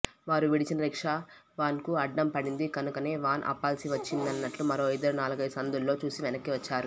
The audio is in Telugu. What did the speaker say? వారు విడిచిన రిక్షా వాన్కు అడ్డం పడింది కనుకనే వాన్ ఆపాల్సివచ్చిందన్నట్లు మరో ఇద్దరు నాలుగైదు సందుల్లో చూసి వెనక్కివచ్చారు